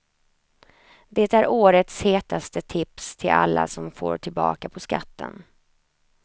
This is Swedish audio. Det är årets hetaste tips till alla som får tillbaka på skatten.